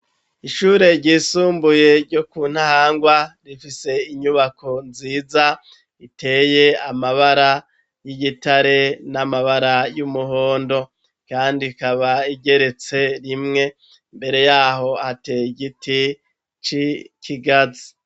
Ishure ryisumbuye ryo kuntahangwa, rifise inyubako nziza, riteye amabara y'igitare ,n'amabara y'umuhondo, kandi ikaba igeretse rimwe, Imbere yaho hateye igiti c'ikigazi.